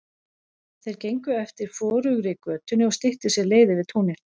Þær gengu eftir forugri götunni og styttu sér leið yfir túnið.